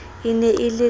e ne e le ka